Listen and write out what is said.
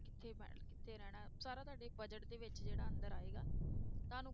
ਕਿੱਥੇ ਮੈਂ ਕਿੱਥੇ ਰਹਿਣਾ ਹੈ ਸਾਰਾ ਤੁਹਾਡੇ budget ਦੇ ਵਿੱਚ ਜਿਹੜਾ ਅੰਦਰ ਆਏਗਾ ਤੁਹਾਨੂੰ,